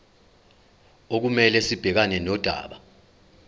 okumele sibhekane nodaba